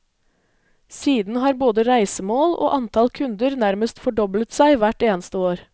Siden har både reisemål og antall kunder nærmest fordoblet seg hvert eneste år.